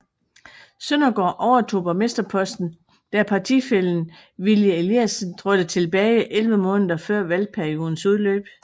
Søndergaard overtog borgmsterposten da partifællen Willy Eliasen trådte tilbage 11 måneder før valgperiodens udløb